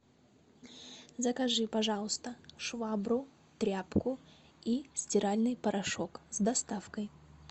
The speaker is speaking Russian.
закажи пожалуйста швабру тряпку и стиральный порошок с доставкой